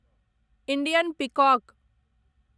Indian peacock